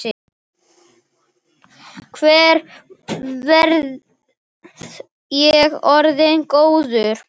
Hvenær verð ég orðinn góður?